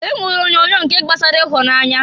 E nwere onyoonyo nke gbasara ihunanya.